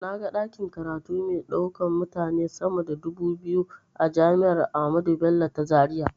Na ga ɗakin karatu mai ɗaukan mutane sama da dubu biyu a jami'ar ahmadu bello ta zaria.